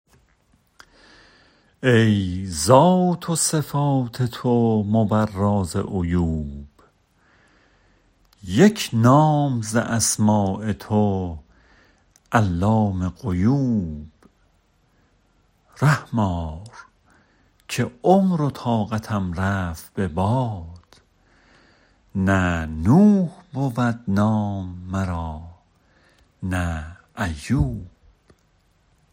ای ذات و صفات تو مبرا ز عیوب یک نام ز اسماء تو علام غیوب رحم آر که عمر و طاقتم رفت به باد نه نوح بود نام مرا نه ایوب